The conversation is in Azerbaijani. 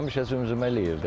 Həmişə zümzümə eləyirdim.